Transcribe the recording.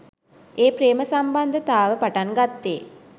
ඒ ප්‍රේම සම්බන්ධතාව පටන් ගත්තේ